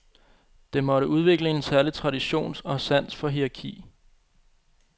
Det måtte udvikle en særlig tradition og sans for hierarki.